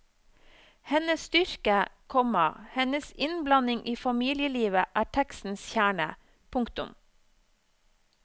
Hennes styrke, komma hennes innblanding i familielivet er tekstens kjerne. punktum